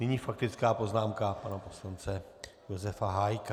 Nyní faktická poznámka pana poslance Josefa Hájka.